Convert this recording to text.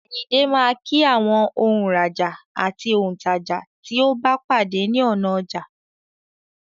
Àyìndé máa kí àwọn òǹrajà àti òǹtajà tí ó bá pàdé ní ọ̀nà ọjà.